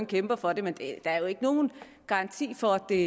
kæmper for det men der er jo ikke nogen garanti for at det